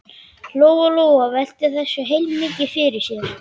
Lóa Lóa velti þessu heilmikið fyrir sér.